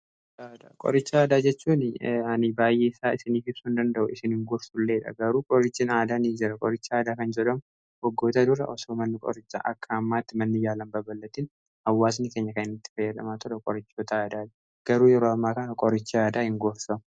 qoricha aadaa, qoricha aadaa jechuun ani baay'eesaa isinii ibsuu hin danda'u isin hin gorsulleedha garuu qorichin aadaa nii jira qoricha aadaa kan jedhamu waggootaa dura osoo manni qorichaa akka ammaatti manni yaalan babal'atiin hawwaasni keenya kanatti fayyadhamaa tola qorichootaa adda adda garuu yeroo ammaa kaa qoricha aadaa hin gorsu.